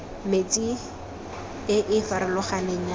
mentsi e e farologaneng ya